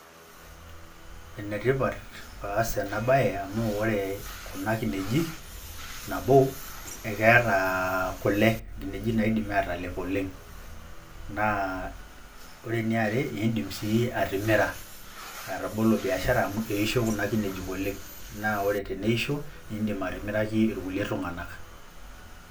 Enetipat paas enabaye amu oree kuna kineji nabo, ekeeta kole, nkineji naidimi atalep oleng' naa ore eniare indim sii atimira, atabolo biashara amu eisho kuna kinejik oleng' naa teneisho indim atimiraki irkulie tung'anak.